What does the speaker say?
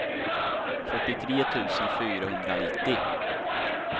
fyrtiotre tusen fyrahundranittio